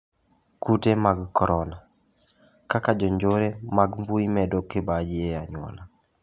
Kute mag korona: kaka jonjore mag mbuyi medo kibaji e anyuola.